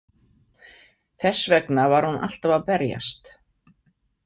Þess vegna var hún alltaf að berjast.